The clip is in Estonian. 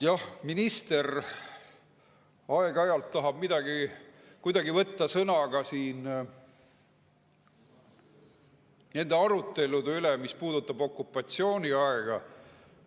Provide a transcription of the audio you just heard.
Jah, minister aeg-ajalt tahab kuidagi võtta sõna ka nende arutelude puhul, mis on puudutanud okupatsiooniaega.